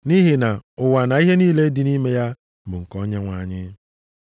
Nʼihi na, “Ụwa na ihe niile dị nʼime ya bụ nke Onyenwe anyị.” + 10:26 \+xt Abụ 24:1\+xt*